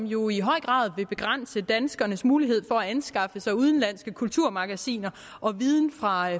jo i høj grad vil begrænse danskernes mulighed for at anskaffe sig udenlandske kulturmagasiner og viden fra